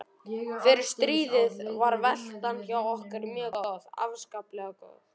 Fyrir stríðið var veltan hjá okkur mjög góð, afskaplega góð.